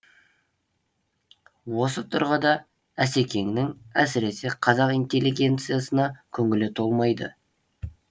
осы тұрғыда асекеңнің әсіресе қазақ интеллигенциясына көңілі толмайды